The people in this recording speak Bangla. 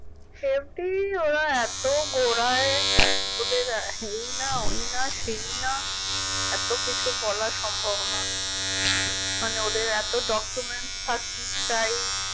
FD ওরা এত ঘরাই ওদের এই না ওই না সেই না এত কিছু বলা সম্ভব না মানে ওদের এত document থাক চাই